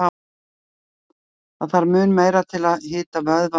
Það þarf mun meira til að hita vöðva en slíkt áreiti.